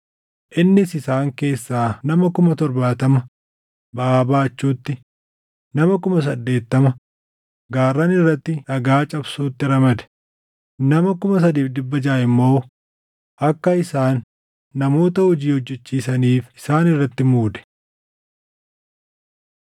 Innis isaan keessaa nama 70,000 baʼaa baachuutti, nama 80,000 gaarran irratti dhagaa cabsuutti ramade; nama 3,600 immoo akka isaan namoota hojii hojjechiisaniif isaan irratti muude.